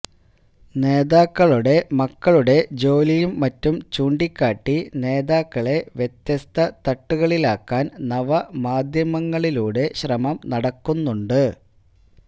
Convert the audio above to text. നേതാക്കളുടെ മക്കളുടെ ജോലിയും മറ്റും ചൂണ്ടിക്കാട്ടി നേതാക്കളെ വ്യത്യസ്ത തട്ടുകളിലാക്കാൻ നവ മാധ്യമങ്ങളിലൂടെ ശ്രമം നടക്കുന്നുണ്ട്